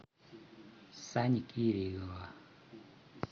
сани кирилова